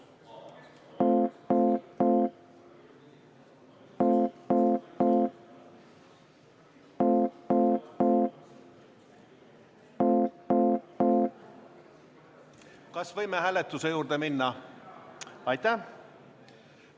Kas võime hääletuse juurde minna?